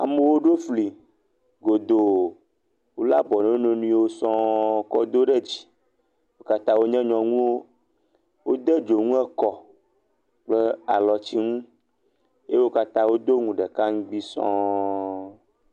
Amowo ɖo fli godoo, wo lé abɔ ne wo nɔnɔewo sɔ̃ kɔ do ɖe dzi, wo kata wo nye nyɔnuwo, wo de dzonu ekɔ kple alɔtsi ŋu, eye wo kata wo do ŋu ɖeka ŋugbi sɔ̃.